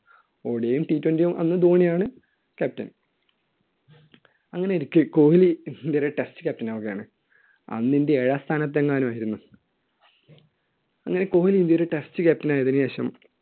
odi യും twenty യും അന്ന് ധോണിയാണ് captain. അങ്ങനെയിരിക്കെ കോഹ്ലി ഇന്ത്യയുടെ test captain ആകുകയാണ്. അന്ന് ഇന്ത്യ ഏഴാം സ്ഥാനത്തെങ്ങാനും ആയിരുന്നു. അങ്ങനെ കോഹ്ലി ഇന്ത്യയുടെ test captain ആയതിനു ശേഷം